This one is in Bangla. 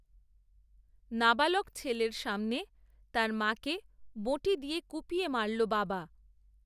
নাবালক ছেলের সামনে, তার মাকে বঁটি দিয়ে কূপিয়ে মারল বাবা